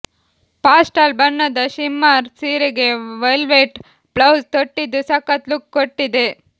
ಪಾಸ್ಟಲ್ ಬಣ್ಣದ ಶಿಮ್ಮರ್ ಸೀರೆಗೆ velvet blouse ತೊಟ್ಟಿದ್ದು ಸಖತ್ ಲುಕ್ ಕೊಟ್ಟಿದೆ